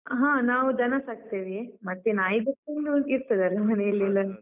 ಹಾ ನಾವು ದನ ಸಾಕ್ತೇವೇ ಮತ್ತೆ ನಾಯಿ ಬೆಕ್ಕೆಲ್ಲ ಇರ್ತದಲ್ಲ ಮನೆಯಲ್ಲಿ ಎಲ್ಲರದ್ದು.